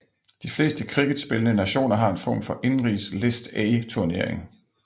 De fleste cricketspillende nationer har en form for indenrigs List A turnering